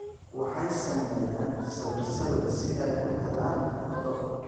Waxay sameeyaan sawir-sawir si ay u helaan cunto.